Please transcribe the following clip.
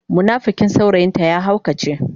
munafikin saurayin ta ya haukace.